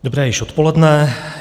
Dobré již odpoledne.